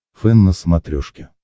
фэн на смотрешке